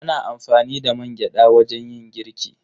Ana amfani da mangyaɗa wajen yin girki.